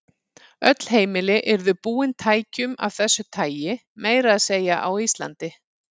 Öll heimili yrðu búin tækjum af þessu tagi, meira að segja á Íslandi.